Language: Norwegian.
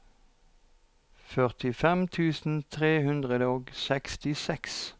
førtifem tusen tre hundre og trettiseks